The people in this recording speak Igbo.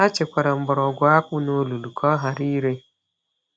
Ha chekwara mgbọrọgwụ akpụ n’olulu ka ọ ghara ire.